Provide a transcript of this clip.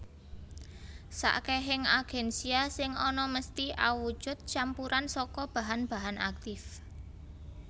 Sakehing agensia sing ana mesthi awujud campuran saka bahan bahan aktif